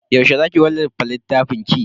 Yaushe za ki wallafa littafinki?